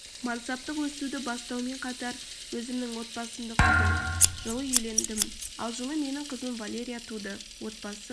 мансаптық өсуді бастаумен қатар өзімнің отбасымды құрдым жылы үйлендім ал жылы менің қызым валерия туды отбасы